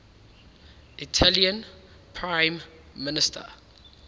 italian prime minister